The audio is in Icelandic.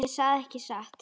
Ég sagði ekki satt.